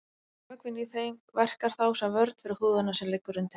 Vökvinn í þeim verkar þá sem vörn fyrir húðina sem liggur undir.